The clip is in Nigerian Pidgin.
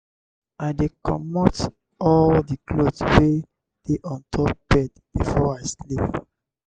i dey comot all di cloth wey dey on top bed before i sleep.